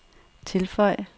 tilføj